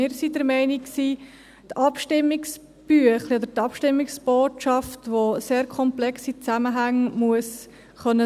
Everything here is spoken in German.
Wir sind der Meinung, das Abstimmungsbüchlein oder die Abstimmungsbotschaft müsse sehr komplexe Zusammenhänge darstellen können.